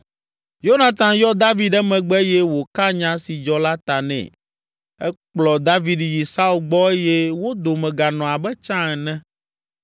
Yonatan yɔ David emegbe eye wòka nya si dzɔ la ta nɛ. Ekplɔ David yi Saul gbɔ eye wo dome ganɔ abe tsã ene.